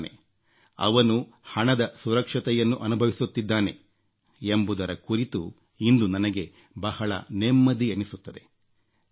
ಮಾಡುತ್ತಿದ್ದಾನೆ ಅವನು ಹಣದ ಸುರಕ್ಷತೆಯನ್ನು ಅನುಭವಿಸುತ್ತಿದ್ದಾನೆ ಎಂಬುದರ ಕುರಿತು ಇಂದು ನನಗೆ ಬಹಳ ನೆಮ್ಮದಿ ಎನಿಸುತ್ತದೆ